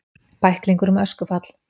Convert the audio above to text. Bæklingur um öskufall